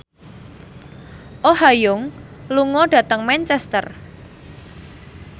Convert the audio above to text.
Oh Ha Young lunga dhateng Manchester